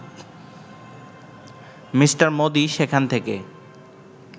me Modi সেখান থেকে